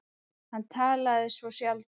Hann talaði svo sjaldan.